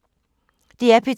DR P2